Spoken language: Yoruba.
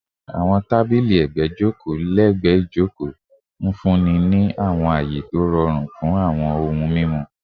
Awọn tabili ẹgbẹ joko lẹgbẹẹ ijoko, nfunni ni awọn aye to rọrun fun awọn ohun mimu